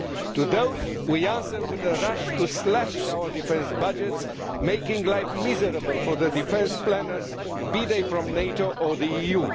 To those, we answer with a rush to slash our defence budgets, making life miserable for the defence planners, be they from NATO or the EU.